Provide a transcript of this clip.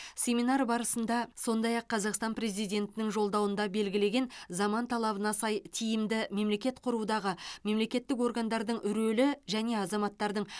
семинар барысында сондай ақ қазақстан президентінің жолдауында белгілеген заман талабына сай тиімді мемлекет құрудағы мемлекеттік органдардың рөлі және азаматтардың